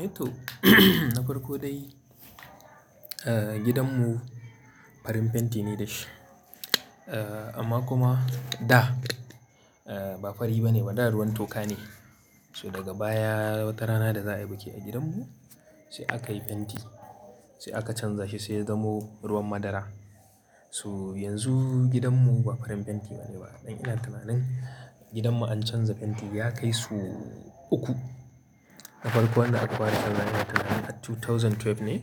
To, na farko dai, eh, gidanmu farin fenti ne da shi. Eh, amma kuma da, eh, ba fari ba ne ba, da ruwan toka ne. So daga baya wata rana da za a yi biki a gidanmu sai aka yi fenti. Sai aka canza shi sai ya zamo ruwan madara. So yanzu gidanmu ba farin fenti ba ne ba. Ɗan ina tunanin gidanmu an canza fenti ya kai so uku. Na farko wanda aka fara chanza wa ina tunanin at dubu biyu da sha biyu ne,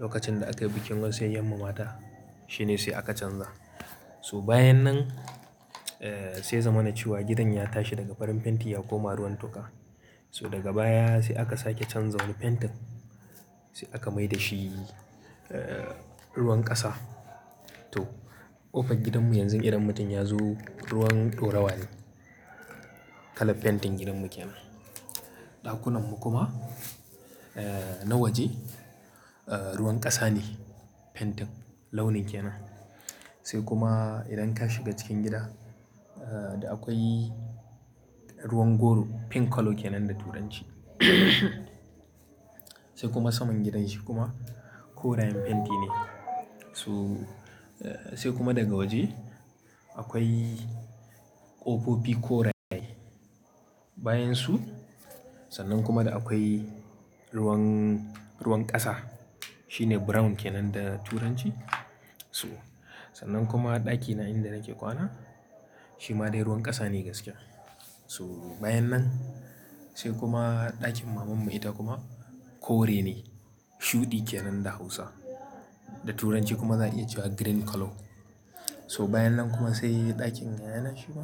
lokacin da aka yi bikin wasu 'yan 'yan mama ta, shi ne sai aka canza. So bayan nan, eh, sai ya zama na cewa gidan ya tashi daga farin fenti ya koma ruwan toka. So daga baya sai aka sake canza wani fentin, sai aka mai da shi, ruwan ƙasa. To, ƙofar gidanmu yanzu idan mutum ya zo ruwan ɗorawa ne. Kalan fentin gidanmu ke nan. Ɗakunanmu kuma, eh, na waje, ruwan ƙasa ne fentin launin ke nan. Sai kuma idan ka shiga cikin gida, da akwai ruwan goro, pink colour ke nan da Turanci. Sai kuma saman gidan shi kuma koren fenti ne. So, sai kuma daga waje akwai ƙofofi koraye. Bayan su sannan kuma da akwai ruwan, ruwan ƙasa. Shi ne brown ke nan da Turanci. So sannan kuma ɗakina inda nake kwana, shi ma dai ruwan ƙasa ne gaskiya. So bayan nan sai kuma ɗakin mamanmu ita kuma kore ne. Shuɗi ke nan da Hausa. Da Turanci kuma za a iya cewa green colour. So bayan nan kuma sai ɗakin yayana shi ma,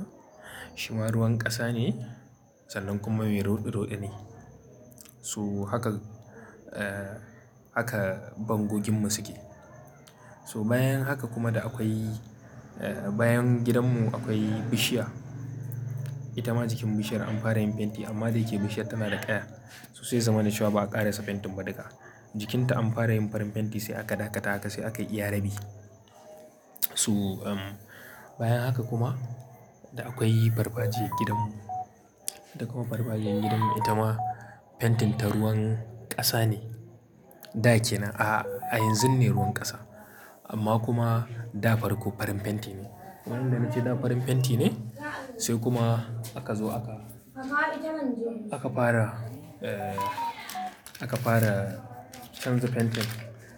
shi ma ruwan ƙasa ne. Sannan kuma mai roɗe-roɗe ne. So haka, eh, haka bango gidanmu suke. So bayan haka kuma da akwai, eh, bayan gidanmu akwai bishiya. Ita ma jikin bishiyar an fara yin fenti amma da ya ke bishiyar tana da ƙaya. So sai ya zama na cewa ba a ƙare sa fentin ba duka. Jikinta an fara yin farin fenti sai aka ɗakata haka sai aka yi iya rabi. So, bayan haka kuma da akwai farfajiyar gidanmu. Da kuma farfajiyan gidanmu ita ma fentin ta ruwan ƙasa ne. Da ke nan, a yanzun ne ruwan ƙasa. Amma kuma da farko farin fenti ne. Wannan da nake yi da farin fenti ne sai kuma aka zo aka, aka fara, aka fara canza fentin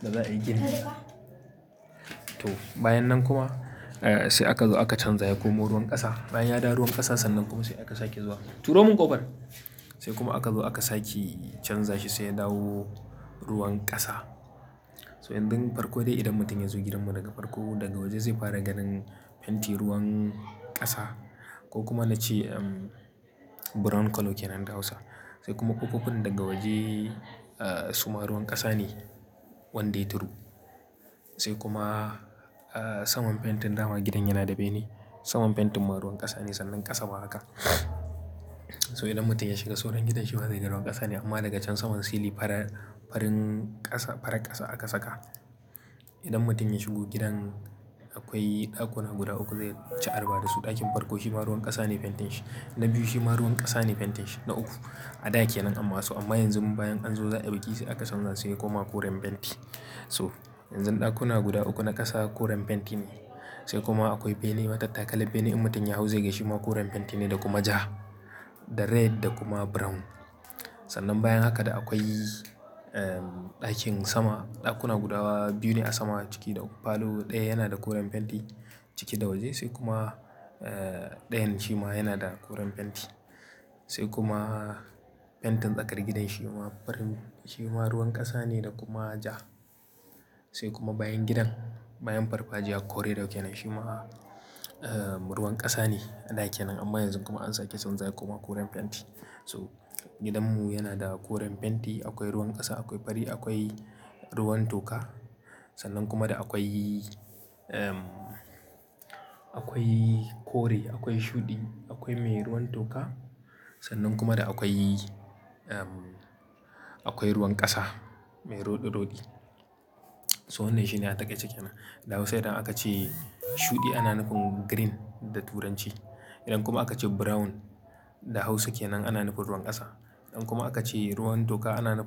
da za a yi gini. To, bayan nan kuma, eh, sai aka zo aka canza ya komo ruwan ƙasa. Bayan ya da ruwan ƙasa sannan kuma sai aka sake zuwa, "turo min ƙofar," sai kuma aka zo aka sake canza shi sai ya dawo ruwan ƙasa. So in dun farko dai idan mutum ya zo gidanmu daga farko, daga waje zai fara ganin fenti ruwan ƙasa ko kuma nace, brown colour ke nan da Hausa. Sai kuma ƙofofin daga waje, su ma ruwan ƙasa ne. Wandae turu. Sai kuma, saman fentin dama gidan yana da bene. Saman fentin ma ruwan ƙasa ne sannan ƙasa ma haka. So idan mutum ya shiga soron gidan shi ba zai ga ruwan ƙasa ne amma daga can saman silin fara, farin ƙasa, faran ƙasa aka saka. Idan mutum ya shigo gidan, akwai ɗakuna guda uku zai ci arba da su. Ɗakin farko shi ma ruwan ƙasa ne fentin shi. Na biyu shi ma ruwan ƙasa ne fentin shi. Na uku a da ake nan amma so amma yanzu bayan an zo za a yi bi ki sai aka canza sai ya koma koren fenti. So yanzu ɗakuna guda uku na ƙasa koren fenti ne. Sai kuma akwai bene matattakalan bene in mutum ya hau zai ga shi ma koren fenti ne da kuma ja, da red da kuma brown. Sannan bayan haka da akwai, ɗakin sama. Ɗakuna guda biyu ne a sama ciki da falo ɗaya yana da koren fenti ciki da waje sai kuma, ɗayan shi ma yana da koren fenti. Sai kuma fentin tsakar gidan shi ma farin, shi ma ruwan ƙasa ne da kuma ja. Sai kuma bayan gidan, bayan farfajiya "corridor" ke nan shi ma, ruwan ƙasa ne a da ke nan. Amma yanzu kuma an sake canza ya koma koren fenti. So gidanmu yana da koren fenti, akwai ruwan ƙasa, akwai fari, akwai ruwan toka. Sannan kuma da akwai, ehm, akwai kore, akwai shudi, akwai mai ruwan toka. Sannan kuma da akwai, ehm, akwai ruwan ƙasa mai roɗe-roɗe. So wannan shine a takaice kenan. Da Hausa idan aka ce shuɗi ana nufin green da Turanci. Idan kuma aka ce brown da Hausa ke nan ana nufin ruwan ƙasa. Idan kuma aka ce ruwan toka ana nufi.